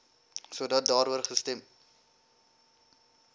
sodat daaroor gestem